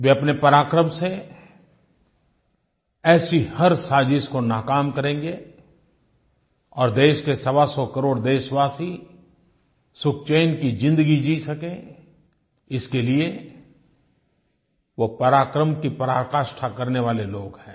वे अपने पराक्रम से ऐसी हर साज़िश को नाकाम करेंगे और देश के सवासौ करोड़ देशवासी सुखचैन की ज़िंदगी जी सकें इसके लिए वो पराक्रम की पराकाष्ठा करने वाले लोग हैं